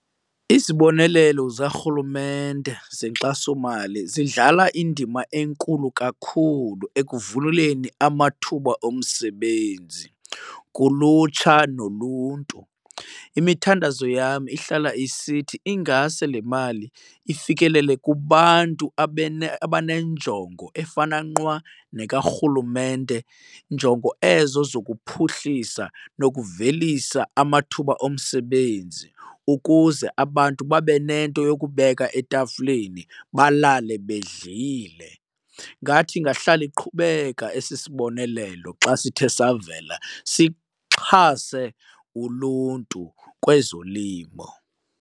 Izibonelelo zikaRhulumente zenkxasomali zidlala indima enkulu kakhulu ekuvuleleni amathuba omsebenzi kulutsha noluntu. Imithandazo yam ihlala isithi ingase le mali ifikelele kubantu abanenjongo efana nqwa nekaRhulumente, njongo ezo zokuphuhlisa nokuvelisa amathuba omsebenzi ukuze abantu babe nento yokubeka etafileni, balale bedlile. Ngathi ingahlala iqhubeka esi sibonelelo xa sithe savela sixhase uluntu kwezolimo.